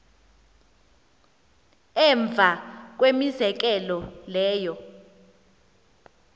emva kwemizekelo leyo